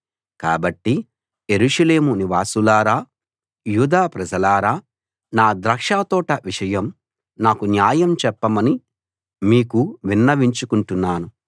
కాబట్టి యెరూషలేము నివాసులారా యూదా ప్రజలారా నా ద్రాక్షతోట విషయం నాకు న్యాయం చెప్పమని మీకు విన్నవించుకుంటున్నాను